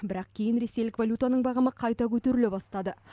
бірақ кейін ресейлік валютаның бағамы қайта көтеріле бастады